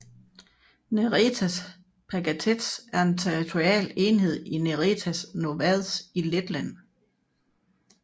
Neretas pagasts er en territorial enhed i Neretas novads i Letland